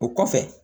O kɔfɛ